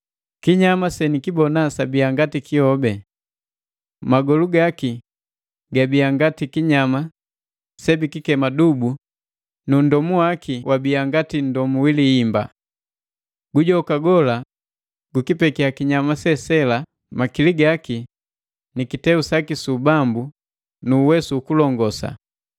Kinyama senikibona sabiya ngati kihobi. Magolu gaki bia ngati kinyama sebikikema dubu na nndomu waki wabia ngati wi lihimba. Gujoka gola gukipekiya kinyama sela makili gaki, kiteu saki su ubambu nu uwesu ukulongosa.